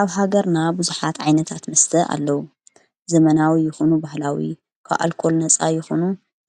ኣብ ሃገርና ብዙኃት ዓይነታት መስተ ኣለዉ ዘመናዊ ይኹኑ ባህላዊ ኳኣልኮል ነፃ ይኹኑ